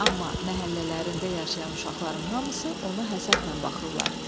Amma məhəllələrində yaşayan uşaqların hamısı ona həsədlə baxırlar.